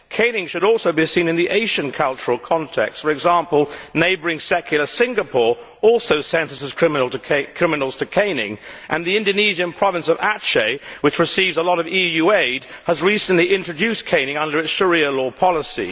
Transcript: Caning should also be seen in the Asian cultural context for example, neighbouring secular Singapore also sentences criminals to caning, and the Indonesian province of Aceh, which receives a lot of EU aid, has recently introduced caning under its Sharia law policy.